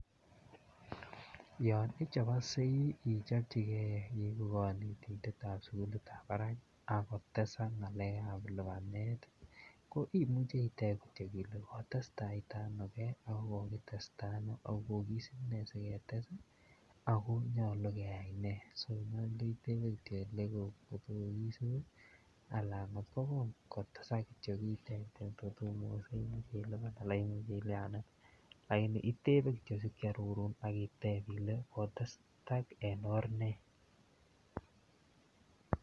Yon ichoboksei ichopchinigei igu konetindet ab sukulit ab barak ak kotesak ngalekab lipanet ko imuche iteb Kityo ile kotes tai ta ano ge ako kokitesta ano ako ko kisub ne asi ketes ago nyolu keyai ne so itebe Kityo angot ko kisub anan kotesak Kityo kiten angot komugokse Imuch ilipan anan Imuch ilyanen lakini itebe Kityo asi kiarorun iteb Kityo ile kotesak en or ne